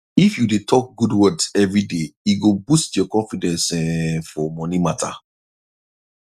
if you dey talk good words every day e go boost your confidence um for money matter